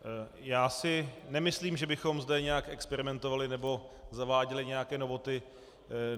Já si nemyslím, že bychom zde nějak experimentovali nebo zaváděli nějaké novoty.